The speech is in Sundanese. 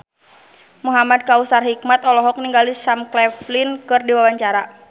Muhamad Kautsar Hikmat olohok ningali Sam Claflin keur diwawancara